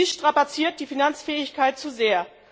Dies strapaziert die Finanzfähigkeit zu sehr.